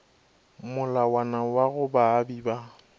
molawana wa go baabi ba